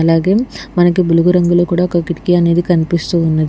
అలాగే మనకి బులుగు రంగులో కూడా ఒక కిటికీ కనిపిస్తూ ఉన్నది.